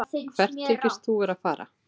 Hvert þykist þú vera að fara?